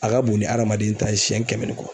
A ka bon ni adamaden ta ye siyɛn kɛmɛ ni kɔ